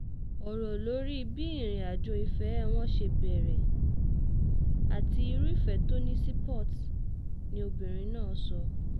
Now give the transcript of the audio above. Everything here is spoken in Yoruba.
ọ̀rọ̀ lórí bí ìrìnàjò ìfẹ́ wọn ṣe bẹ̀rẹ̀ àti irú ìfẹ́ tó ní sí port ni obìnrin náà sọ